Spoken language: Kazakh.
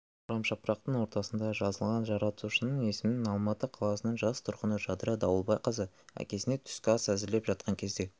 орамжапырақтың ортасында жазылған жаратушының есімін алматы қаласының жас тұрғыны жадыра дауылбайқызы әкесіне түскі ас әзірлеп жатқан кезде